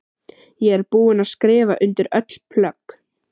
Ég er búin að skrifa undir öll plögg.